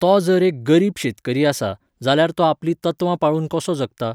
तोच जर एक गरीब शेतकरी आसा, जाल्यार तो आपलीं तत्वां पाळून कसो जगता?